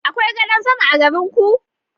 Akwai gadan sama a garin ku?